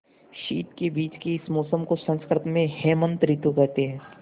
शीत के बीच के इस मौसम को संस्कृत में हेमंत ॠतु कहते हैं